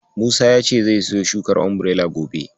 Musa ya ce zai siyo shukar Umbirela gobe.